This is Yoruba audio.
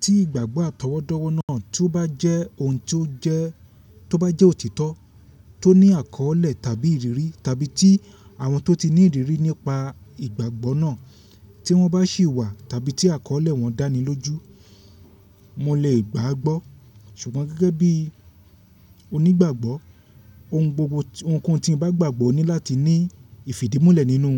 Tí ìgbàgbọ́ àtọwọ́dọ́wọ́ náà tó bá jẹ́ ohun tó jẹ́, tó bá jẹ́ òtítọ́ tó ní àkọ́ọ́lẹ̀ tàbí ìrírí, tàbí tí àwọn tó ti ní ìrírí nípa ìgbàgbọ́ náà tí wọ́n bá sì wà tàbí tí àkọ́ọ́lẹ̀ wọn dáni lójú, mo lè gbàá gbọ́. Ṣùgbọ́n gẹ́gẹ́ bí onígbàgbọ́, ohun gbogbo ohunkóhun tí mo bá gbàgbọ́ ní láti ní ìfìdí múlẹ̀ nínú